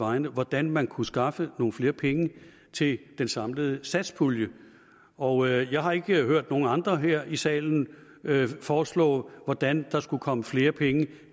vegne hvordan man kunne skaffe nogle flere penge til den samlede satspulje og jeg har ikke hørt nogen andre her i salen foreslå hvordan der skulle komme flere penge